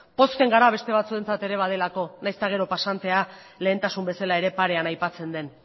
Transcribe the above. pozten gara beste batzuentzat ere badagoelako nahiz eta gero pasantea lehentasun bezala ere parean aipatzen den